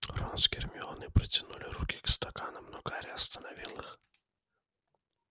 рон с гермионой протянули руки к стаканам но гарри остановил их